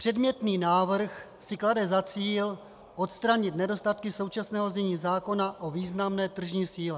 Předmětný návrh si klade za cíl odstranit nedostatky současného znění zákona o významné tržní síle.